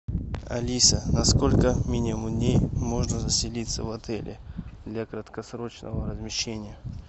алиса на сколько минимум дней можно заселиться в отеле для краткосрочного размещения